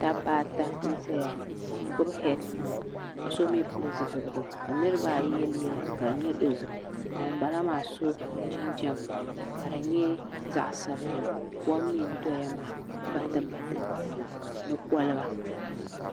Dabba ata n ʒɛya n gbubi heed pai ka so mii pili zipiligu ka niraba ayi yɛ liiga ka di nyɛ dozim ka ŋunbala maa so jinjɛm ka di nyɛ zaɣ sabinli kom mii n doya maa batibati ni kolba